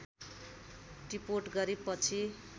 टिपोट गरी पछि